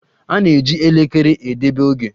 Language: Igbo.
A na-eji elekere edebe oge.